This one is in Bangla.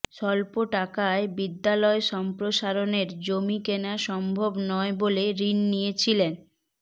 স্বল্প টাকায় বিদ্যালয় সম্প্রসারণের জমি কেনা সম্ভব নয় বলে ঋণ নিয়েছিলেন